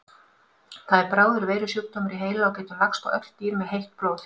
Það er bráður veirusjúkdómur í heila og getur lagst á öll dýr með heitt blóð.